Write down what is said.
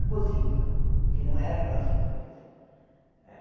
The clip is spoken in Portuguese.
A Cosipa, que não era a nossa empresa. Eh